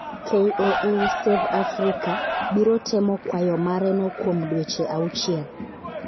KOA Save Africa biro temo kwayo mareno kuom dweche auchiel.